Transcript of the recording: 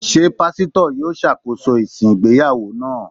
Ṣé Pásítọ̀ yó ṣàkóso ìsìn ìgbéyàwó náà?